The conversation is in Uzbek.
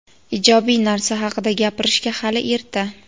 Ijobiy narsa haqida gapirishga hali erta.